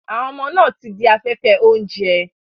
Àwọn ọmọ náà ti di afẹ́fẹ́ oúnjẹ.